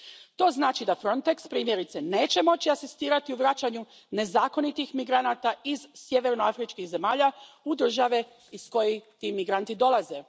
To znači da Frontex, primjerice, neće moći asistirati u vraćanju nezakonitih migranata iz sjevernoafričkih zemalja u države iz kojih ti migranti dolaze.